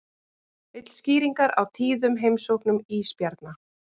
Vill skýringar á tíðum heimsóknum ísbjarna